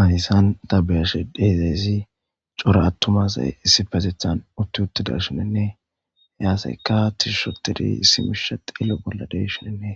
Haysan ta biyashe dezayzi coro attumasay issipazethan utti uttida shinenne yaaseykka tishushotedi issimisha xillo bolla deshinenne